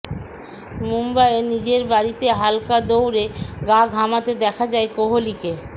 মুম্বাইয়ে নিজের বাড়িতে হালকা দৌড়ে গা ঘামাতে দেখা যায় কোহলিকে